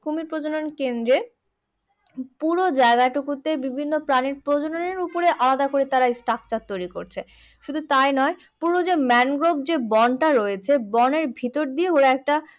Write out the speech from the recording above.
কুমির প্রজনন কেন্দ্রের পুরো জায়গা টুকুতে বিভিন্ন প্রাণীর প্রজননের উপরে আলাদা করে তারা structure তৈরি করছে। শুধু তাই নয় পুরো যে mangrove যে বনটা রয়েছে বনের ভিতর দিয়ে ওরা একটা